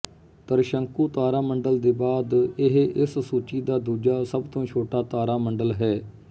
ਤਰਿਸ਼ੰਕੂ ਤਾਰਾਮੰਡਲ ਦੇ ਬਾਅਦ ਇਹ ਇਸ ਸੂਚੀ ਦਾ ਦੂਜਾ ਸਭ ਤੋਂ ਛੋਟਾ ਤਾਰਾਮੰਡਲ ਹੈ